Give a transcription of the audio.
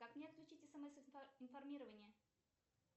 как мне отключить смс информирование